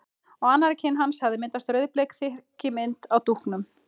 Á annarri kinn hans hafði myndast rauðbleik þrykkimynd af dúknum.